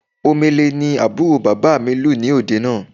Omele ni àbúrò bàbà mi lù ní òde àná